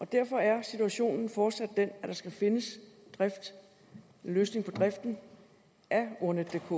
derfor er situationen fortsat den at der skal findes en løsning på driften af ordnetdk